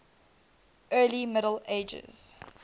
early middle ages